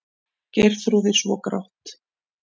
Geirþrúði svo grátt.